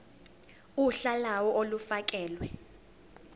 uhla lawo olufakelwe